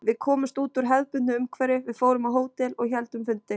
Við komumst út úr hefðbundnu umhverfi, við fórum á hótel og héldum fundi.